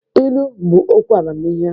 Ilu bụ okwu amamihe.